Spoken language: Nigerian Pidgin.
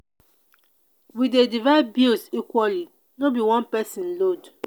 we dey divide bills equally no be one pesin load.